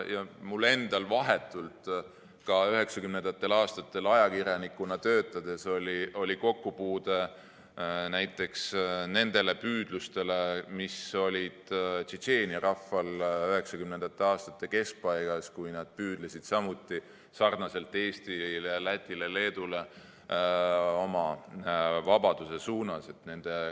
Mul endal oli ka 1990. aastatel ajakirjanikuna töötades vahetult kokkupuude näiteks nende püüdlustega, mis olid Tšetšeenia rahval 1990. aastate keskpaigas, kui nad püüdlesid samuti nagu Eesti, Läti ja Leedu oma vabaduse suunas.